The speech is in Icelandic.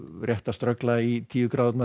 rétt að ströggla í tíu gráðurnar